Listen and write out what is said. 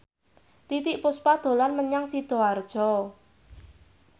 Titiek Puspa dolan menyang Sidoarjo